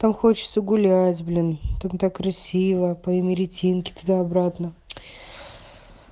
там хочется гулять блин там так красиво по имеретинке туда-обратно